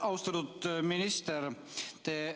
Austatud minister!